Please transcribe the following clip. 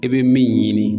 I bɛ min ɲini